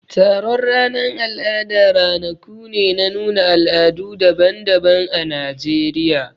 Taron ranan al'ada ranaku ne na nuna al'adu daban-daban ã Najeriya.